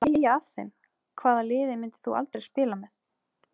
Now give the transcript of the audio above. Hlægja af þeim Hvaða liði myndir þú aldrei spila með?